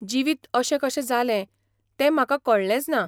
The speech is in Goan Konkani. जिवीत अशें कशें जालें तें म्हाका कळ्ळेंचना.